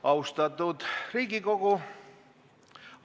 Austatud Riigikogu!